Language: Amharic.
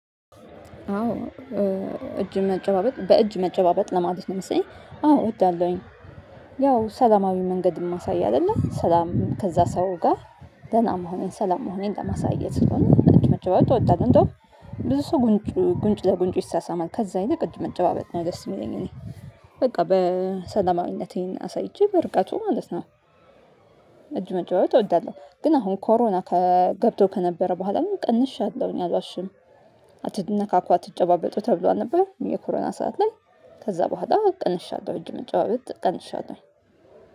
አዎ እጅ መጨባበጥ በእጅ መጨባበጥ ለማለት ነው መሰለኝ አዎ እወዳለሁኝ። ያው ሰላማዊ መንገድ ማሳይ አይደለም ሰላም ከዛ ሰውጋ ደህና መሆኔን ሰላም መሆኔን ለማሳየት ስለሆነ እጅ መጨባበጥ እወዳለው። እንዶም ብዙ ሰው ጉንጭ ለጉንጭ ይሳሳማል ከዛ አይነት እጅ መጨባበጥ ነው ደስ የሚለኝ በቃ በሰለማዊነቴን አሳይቼ በርጋቱ ማለት ነው። እጅ መጫባበጥ እወዳለሁ ግን አሁን ኮሮና ከገብቶ ከነበረ በኋላ ግን ቀንሻለሁ እኔ አልዋሽም። አትነካኩ አትጨባበጡ ተብሎ አልነበር የኮሮና ሰዓት ላይ ከዛ በኋላ ቀንሻለሁ እጅ መጨባበጥ ቀንሻለሁኝ።